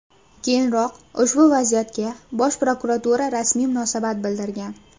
Keyinroq ushbu vaziyatga Bosh prokuratura rasmiy munosabat bildirgan .